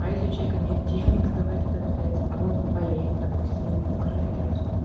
а если у человека нет денег сдавать этот тест а он болеет допустим у него коронавирус